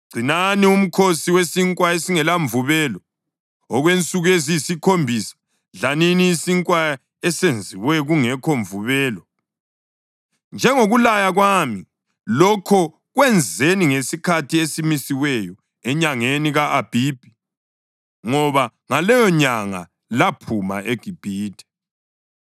Gcinani uMkhosi weSinkwa esingelaMvubelo. Okwensuku eziyisikhombisa dlanini isinkwa esenziwe kungekho mvubelo, njengokulaya kwami. Lokho kwenzeni ngesikhathi esimisiweyo enyangeni ka-Abhibhi, ngoba ngaleyonyanga laphuma eGibhithe.